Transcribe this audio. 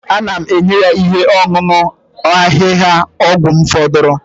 Ana m enye ya ihe ọṅụṅụ ahịhịaọgwụ m fọdụrụnụ